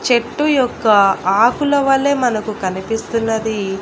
చెట్టు యొక్క ఆకుల వలె మనకు కనిపిస్తున్నది.